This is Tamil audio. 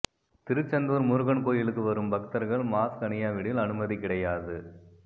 திருச்செந்தூர் முருகன் கோயிலுக்கு வரும் பக்தர்கள் மாஸ்க் அனியாவிடில் அனுமதி கிடையாது